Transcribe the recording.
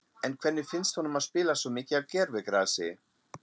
En hvernig finnst honum að spila svo mikið á gervigrasi?